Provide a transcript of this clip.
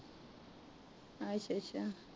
ਅੱਛਾ ਅੱਛਾ